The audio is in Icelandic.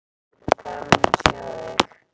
Gaman að sjá þig.